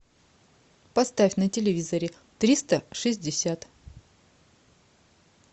поставь на телевизоре триста шестьдесят